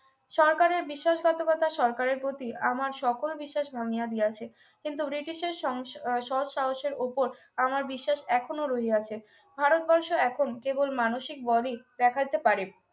সরকারের বিশ্বাসঘাতকতা সরকারের প্রতি আমার সকল বিশ্বাস ভাঙিয়া দিয়াছে কিন্তু ওর এটির সেই সৎ সাহসের উপর আবার বিশ্বাস এখনো রইয়াছে ভারতবর্ষ এখন কেবল মানসিক বরই দেখাইতে পারে